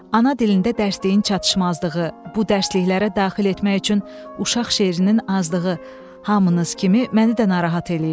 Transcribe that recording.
Ana dilində dərsliyin çatışmazlığı, bu dərsliklərə daxil etmək üçün uşaq şeirinin azlığı hamınız kimi məni də narahat eləyir.